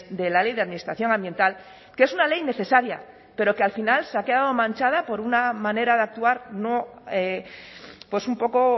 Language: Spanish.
de la ley de administración ambiental que es una ley necesaria pero que al final se ha quedado manchada por una manera de actuar no pues un poco